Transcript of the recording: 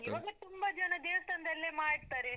ಈವಾಗ್ಲೇ, ತುಂಬಾ ಜನ ದೇವಸ್ಥಾನದಲ್ಲೆ ಮಾಡ್ತಾರೆ.